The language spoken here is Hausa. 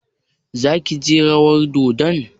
Zaki je rawar dodon?